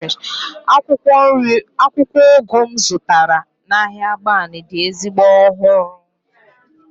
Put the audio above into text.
akwukwo ugu m zụtara n'ahịa agbani dị ezigbo ọhụrụ